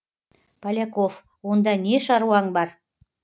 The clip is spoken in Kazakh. поляков онда не шаруаң бар